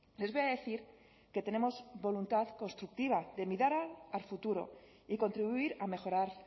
les voy a decir que tenemos voluntad constructiva de mirar al futuro y contribuir a mejorar